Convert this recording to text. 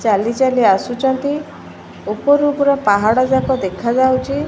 ଚାଲି ଚାଲି ଆସୁଚନ୍ତି ଉପରୁ ପୁରା ପାହାଡଯାଙ୍କ ଦେଖାଯାଉଚି।